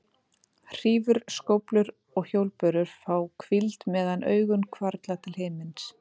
Hrífur, skóflur og hjólbörur fá hvíld meðan augun hvarfla til himins.